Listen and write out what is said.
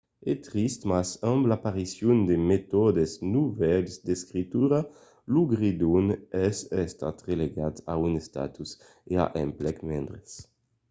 es trist mas amb l'aparicion de metòdes novèls d'escritura lo gredon es estat relegat a un estatus e a d'emplecs mendres